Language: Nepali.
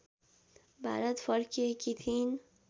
भारत फर्किएकी थिइन्